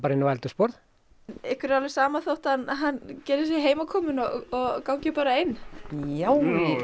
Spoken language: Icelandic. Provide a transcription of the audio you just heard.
inn á eldhúsborð ykkur er alveg sama þótt hann hann geri sig heimakominn og gangi bara inn já